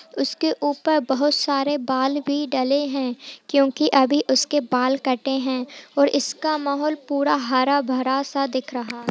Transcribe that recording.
उसके ऊपर बहुत सारे बाल भी डले है क्यूंकि अभी उसके बाल कटे है और इसका माहौल पूरा हरा-भरा सा दिख रहा --